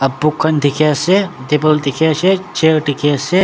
boom khan dikhiase table dikhiase chair dikhiase.